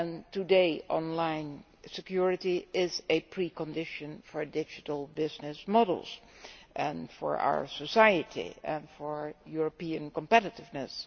Today online security is a precondition for digital business models for our society and for European competitiveness.